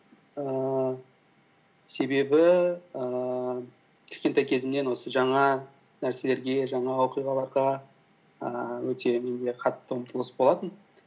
ііі себебі ііі кішкентай кезімнен осы жаңа нәрселерге жаңа оқиғаларға ііі өте менде қатты ұмтылыс болатын